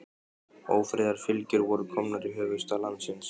Ófriðarfylgjur voru komnar í höfuðstað landsins.